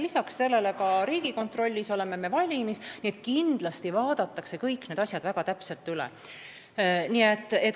Lisaks sellele oleme valmis, et ka Riigikontrollis kindlasti vaadatakse kõik need asjad väga täpselt üle.